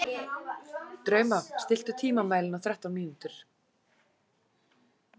Drauma, stilltu tímamælinn á þrettán mínútur.